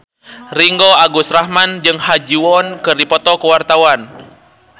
Ringgo Agus Rahman jeung Ha Ji Won keur dipoto ku wartawan